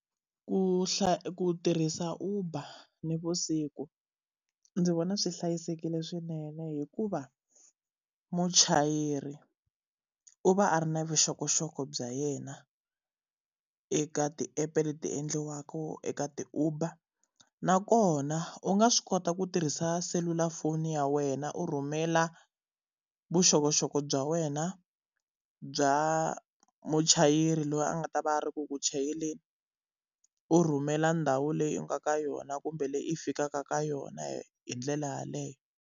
Ku ku tirhisa Uber navusiku ndzi vona swi hlayisekile swinene hikuva, muchayeri u va a ri na vuxokoxoko bya yena eka ti-app-e leti endliwaka eka ti-Uber. Nakona u nga swi kota ku tirhisa selulafoni ya wena u rhumela vuxokoxoko bya wena, bya muchayeri loyi a nga ta va a ri ku chayeleni, u rhumela ndhawu leyi u nga ka yona kumbe leyi i fikaka ka yona hi ndlela yaleyo.